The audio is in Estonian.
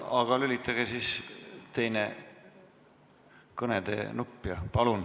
Jah, aga lülitage siis teine, kõnede nupp sisse.